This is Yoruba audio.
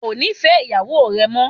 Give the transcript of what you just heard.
Ó ò nífẹ̀ẹ́ ìyàwó rẹ mọ́